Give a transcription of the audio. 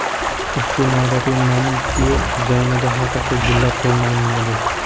Ushbu noodatiy manikyur dizaynida haqiqiy gullar qo‘llaniladi.